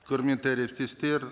құрметті әріптестер